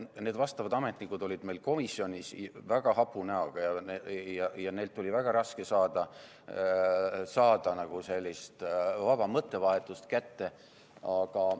Need vastavad ametnikud olid meil komisjonis väga hapu näoga ja neilt oli väga raske saada sellist vaba mõttevahetust kätte.